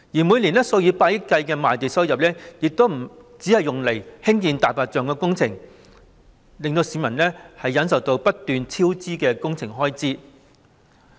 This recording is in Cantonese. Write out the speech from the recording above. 每年數以百億元計的賣地收入，就只用作興建"大白象"工程，令市民要忍受不斷超支的工程開支。